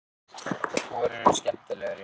Hugrún: Hvor eru skemmtilegri?